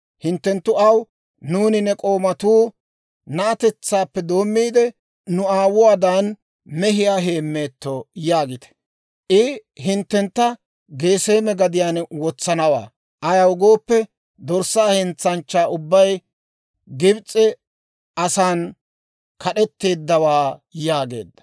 hinttenttu aw, ‹Nuuni ne k'oomatuu na'atetsaappe doommiide, nu aawotuwaadan mehiyaa heemmeetto› yaagite. I hinttentta Geseeme gadiyaan wotsanawaa; ayaw gooppe, dorssaa hentsanchchaa ubbay Gibs'e asan kad'eteeddawaa» yaageedda.